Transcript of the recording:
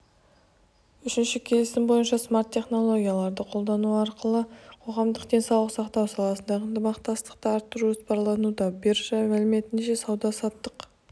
үшінші келісім бойынша смарт-технологияларды қолдану арқылы қоғамдық денсаулық сақтау саласында ынтымақтастықты арттыру жоспарлануда биржа мәліметінше сауда-саттық